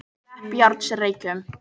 Kleppjárnsreykjum